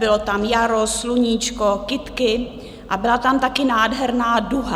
Bylo tam jaro, sluníčko, kytky a byla tam taky nádherná duha.